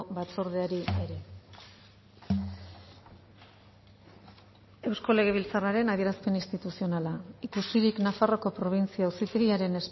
batzordeari ere eusko legebiltzarraren adierazpen instituzionala ikusirik nafarroako probintzi auzitegiaren